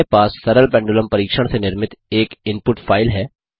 हमारे पास सरल पेंडुलम परीक्षण से निर्मित एक इनपुट फ़ाइल है